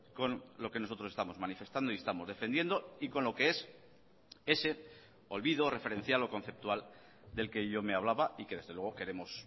con lo que nosotros estamos manifestando y estamos defendiendo y con lo que es ese olvido referencial o conceptual del que yo me hablaba y que desde luego queremos